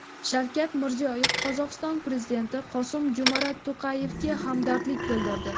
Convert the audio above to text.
Shavkat Mirziyoyev Qozog‘iston prezidenti Qosim-Jo‘mart To‘qayevga hamdardlik bildirdi.